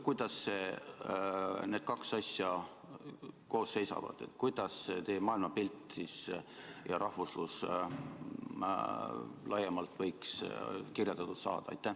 Kuidas need kaks asja koos seisavad, kuidas teie maailmapilt ja rahvuslus laiemalt võiksid kirjeldatud saada?